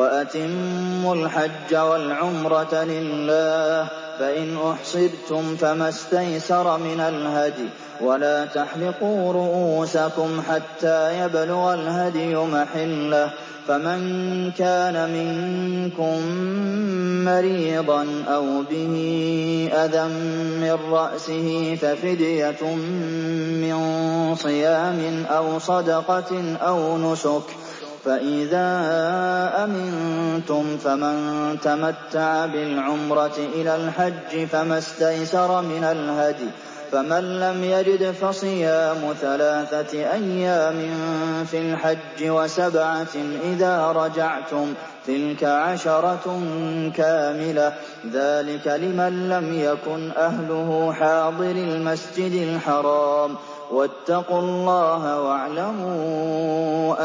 وَأَتِمُّوا الْحَجَّ وَالْعُمْرَةَ لِلَّهِ ۚ فَإِنْ أُحْصِرْتُمْ فَمَا اسْتَيْسَرَ مِنَ الْهَدْيِ ۖ وَلَا تَحْلِقُوا رُءُوسَكُمْ حَتَّىٰ يَبْلُغَ الْهَدْيُ مَحِلَّهُ ۚ فَمَن كَانَ مِنكُم مَّرِيضًا أَوْ بِهِ أَذًى مِّن رَّأْسِهِ فَفِدْيَةٌ مِّن صِيَامٍ أَوْ صَدَقَةٍ أَوْ نُسُكٍ ۚ فَإِذَا أَمِنتُمْ فَمَن تَمَتَّعَ بِالْعُمْرَةِ إِلَى الْحَجِّ فَمَا اسْتَيْسَرَ مِنَ الْهَدْيِ ۚ فَمَن لَّمْ يَجِدْ فَصِيَامُ ثَلَاثَةِ أَيَّامٍ فِي الْحَجِّ وَسَبْعَةٍ إِذَا رَجَعْتُمْ ۗ تِلْكَ عَشَرَةٌ كَامِلَةٌ ۗ ذَٰلِكَ لِمَن لَّمْ يَكُنْ أَهْلُهُ حَاضِرِي الْمَسْجِدِ الْحَرَامِ ۚ وَاتَّقُوا اللَّهَ وَاعْلَمُوا